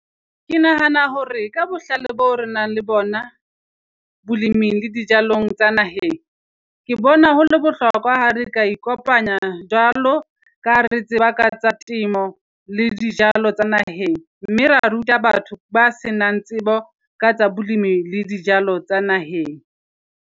Ke nahana hore ka bohlale boo re nang le bona boleming le dijalong tsa naheng. Ke bona ho le bohlokwa ha re ka ikopanya jwalo, ka ha re tseba ka tsa temo le dijalo tsa naheng mme ra ruta batho ba senang tsebo ka tsa bolemi le dijalo tsa naheng.